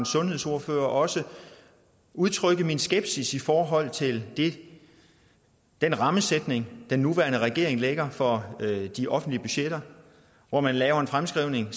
sundhedsordfører også udtrykke min skepsis i forhold til den rammesætning den nuværende regering lægger for de offentlige budgetter hvor man laver en fremskrivning